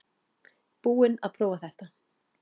Búinn að prófa þetta